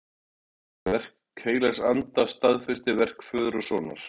Verk heilags anda staðfestir verk föður og sonar.